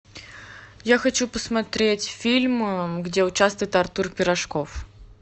я хочу посмотреть фильм где участвует артур пирожков